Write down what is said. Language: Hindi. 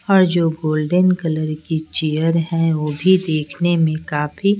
और जो गोल्डन कलर की चेयर हैं वो भी देखने में काफी--